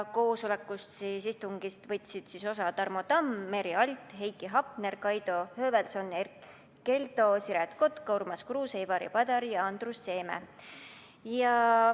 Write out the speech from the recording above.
Istungist võtsid osa Tarmo Tamm, Merry Aart, Heiki Hepner, Kaido Höövelson, Erkki Keldo, Siret Kotka, Urmas Kruuse, Ivari Padar ja Andrus Seeme.